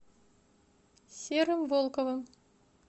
серым волковым